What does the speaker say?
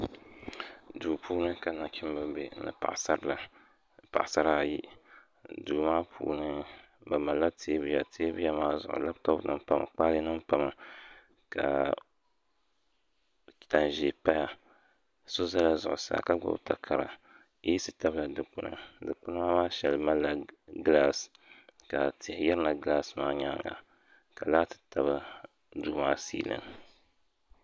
Duu puuni ka nachimba be ni paɣisara yi duu maa puuni bɛ malila teebuya teebuya maa zuɣu lapitɔpunima pami kpaalenima pami ka tan' ʒee paya so zala zuɣusaa ka gbubi takara yeesi tabila dikpuni dikpuna maa shɛli malila gilaasi ka tihi yirina gilaasi maa nyaaŋga ka laati tabi duu maa siilin